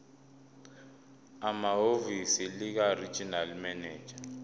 ehhovisi likaregional manager